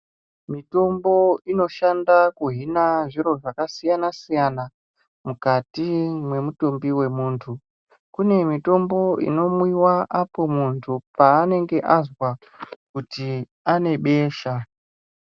Mitombo inoshanda kuhina zviro zvakasiyana siyana mukati mwemutumbi mwemundu, kune mitombo inomwiwa apo panenge azwa kuti anebesha.